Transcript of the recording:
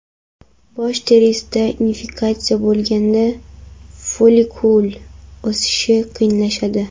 Bosh terisida infeksiya bo‘lganda, follikul o‘sishi qiyinlashadi.